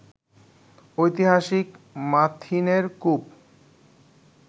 ঐতিহাসিক মাথিনের কূপ